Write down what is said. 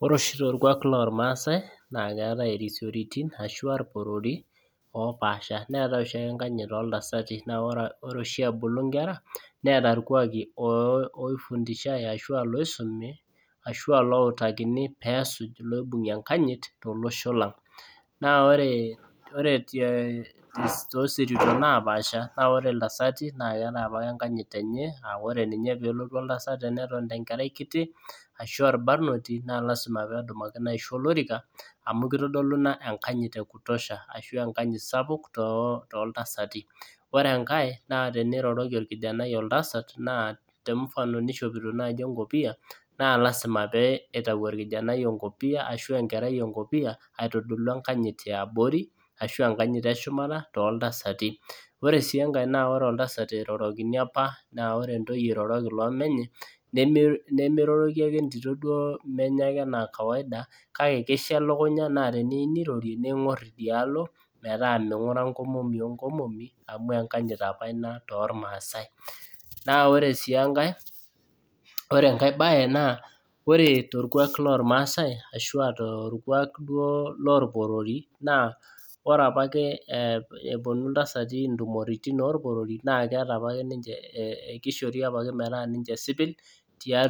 Ore oshi torkuak loormaasai neetai irporori loopasha neetai oshiake enkanyit ooltasai naa ore oshiake ebulu inkera neeta irkuaki oifundishai ashua iloisumi ashua iloibung'ie enkanyit tolosho lang naaa ore toosirito napaasha naa ore iltasati naa keetai apake enkanyit enye aa re ninye peelotu oltasat tenetonita enkerai kiti ashua orbanoti naa lazima peedumamino aisho olorika amu keitodolu ina enkanyit ekutosha ashua enkanyit sapuk tooltasati ore enkae naa teneiroroki orkijanai oltasat naa temfano neishopito naaji enkopiyia naa lazima peeitayu orkijanai enkopiya aishu eitayu enkerai enkopiyia aitodolu enkanyit yaabori ashua enkanyit eshumata tooltasati ore sii enkae na ore oltasat eirorokini apa naa ore intoyie eirroroki loomenye nemeirorroki entito ake